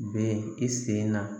Bɛ i sen na